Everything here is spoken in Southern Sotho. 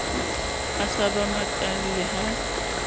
a sa ba makalle ha